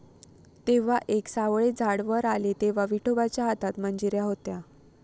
तेव्हा एक सावळे झाड वर आले, तेव्हा विठोबाच्या हातात मंजिऱ्या होत्या.